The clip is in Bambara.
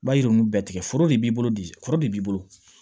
Ba yiri ninnu bɛɛ tigɛ foro de b'i bolo bi kɔrɔ de b'i bolo